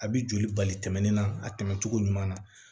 A bɛ joli bali tɛmɛnen na a tɛmɛ cogo ɲuman na